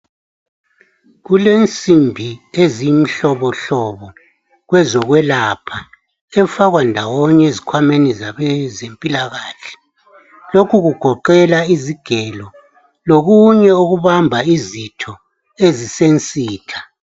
Kulensimbi ezimhlobohlobo kwezokwelapha efakwa ndawonye ezikhwameni zabezempilakahle lokhu kugoqela izigelo lokunye okubamba izitho ezisensitha.